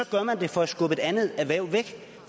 gør man det for at skubbe et andet erhverv væk